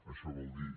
això vol dir